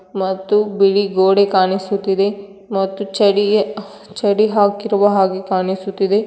ಮತ್ತು ಬಿಳಿ ಗೋಡೆ ಕಾಣಿಸುತಿದೆ ಮತ್ತು ಛಡಿಗೆ ಛಡಿ ಹಾಕಿರುವ ಹಾಗೆ ಕಾಣಿಸುತಿದೆ.